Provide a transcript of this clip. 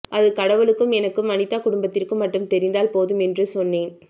அது கடவுளுக்கும் எனக்கும் அனிதா குடும்பத்திற்கும் மட்டும் தெரிந்தால் போதும் என்று சொன்னேன்